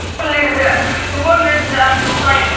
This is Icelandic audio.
Þolirðu ekki Sæma?